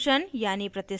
substitution यानी प्रतिस्थापन